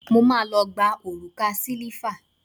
Mo má lọ gba òrùka sílíífà.